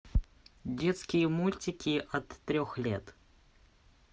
детские мультики от трех лет